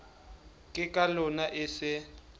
ke ka lona e se